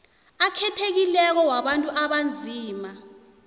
akhethekileko wabantu abanzima